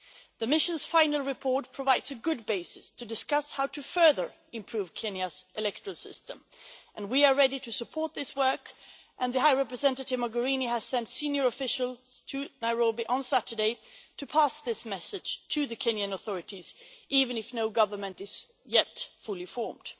The mission's final report provides a good basis to discuss how to further improve Kenya's electoral system, and we are ready to support this work, and High Representative Mogherini has sent senior officials to Nairobi on Saturday to pass this message on to the Kenyan authorities, even if no government is yet fully formed.